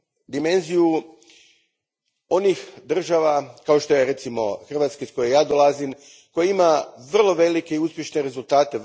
Dimenziju onih država kao što je, recimo, Hrvatska, iz koje ja dolazim, koja ima vrlo velike i uspješne rezultate.